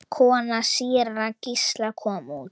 Kona síra Gísla kom út.